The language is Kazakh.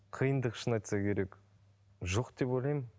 қиындығы шыны айтса керек жоқ деп ойлаймын